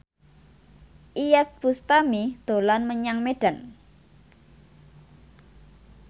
Iyeth Bustami dolan menyang Medan